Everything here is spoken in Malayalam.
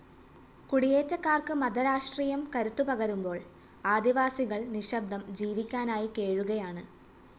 കുടിയേറ്റക്കാർക്ക് മതരാഷ്ട്രീയം കരുത്ത് പകരുമ്പോൾ ആദിവാസികൾ നിശബ്ദം ജീവിക്കാനായി കേഴുകയാണ്